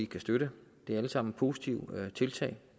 kan støtte det er alle sammen positive tiltag